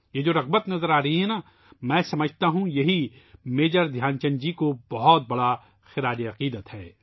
یہ جو جذبہ نظر آ رہا ہے ، میں سمجھتا ہوں ، یہی میجر دھیان چند جی کے لئے بہت بڑا اظہارِ عقیدت ہے